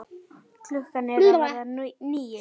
Klukkan er að verða níu